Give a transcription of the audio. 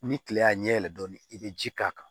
Ni kile y'a ɲɛ yɛlɛ dɔɔni i be ji k'a kan